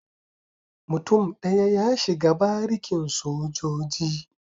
Mutum daya ya shiga barikin sojoji.